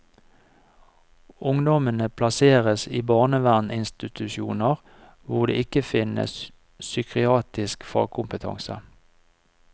Ungdommene plasseres i barnevernsinstitusjoner, hvor det ikke finnes psykiatrisk fagkompetanse.